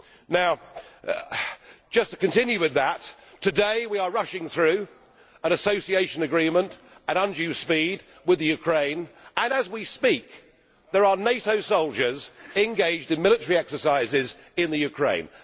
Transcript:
Now just to continue with that, today we are rushing through, at undue speed, an Association Agreement with the Ukraine, and as we speak there are NATO soldiers engaged in military exercises in the Ukraine.